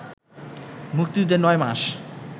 মুক্তিযুদ্ধের নয় মাস